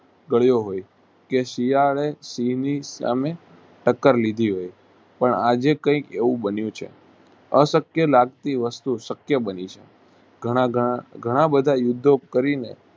ગાળ્યો હોય. કે શિયાળે સિંહની સામે તાકર લીધી હોય પણ આજે કૈક એવું બન્યું છે. અશક્ય લગતી વસ્તુ શક્ય બની છે. ઘણા~ઘણા ઘણાબધા યુધો કરીને